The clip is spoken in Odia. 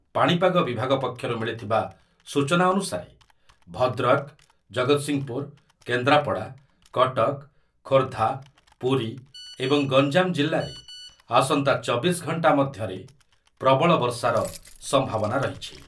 ପାଣିପାଗ ବିଭାଗ ପକ୍ଷରୁ ମିଳିଥିବା ସୂଚନା ଅନୁସାରେ ଭଦ୍ରକ, ଜଗତସିଂହପୁର, କେନ୍ଦ୍ରାପଡ଼ା, କଟକ, ଖୋର୍ଦ୍ଧା, ପୁରୀ ଏବଂ ଗଞ୍ଜାମ ଜିଲ୍ଲାରେ ଆସନ୍ତା ଚବିଶ ଘଣ୍ଟା ମଧ୍ୟରେ ପ୍ରବଳ ବର୍ଷାର ସମ୍ଭାବନା ରହିଛି